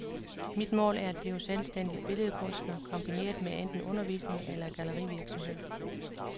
Mit mål er at blive selvstændig billedkunstner kombineret med enten undervisning eller gallerivirksomhed.